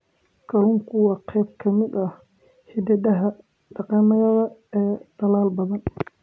Kalluunku waa qayb ka mid ah hiddaha dhaqameed ee dalal badan.